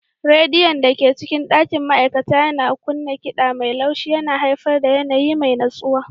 Rediyon da ke cikin ɗakin ma'aikata yana kunna kiɗa mai laushi yana haifar da yanayi mai natsuwa.